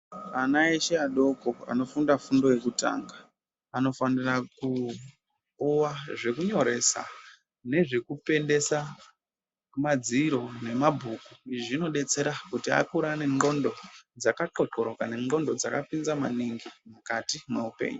Ana eshe adoko anofunda fundo yekutanga anofanira kupuwa zvekunyoresa nezvekupendesa madziro nemabhuku. Izvi zvinodetsera kuti akure aine qondo dzakaxokoroka neqondo dzakapinza maningi mukati mweupenyu.